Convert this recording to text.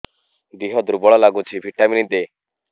ଦିହ ଦୁର୍ବଳ ଲାଗୁଛି ଭିଟାମିନ ଦେ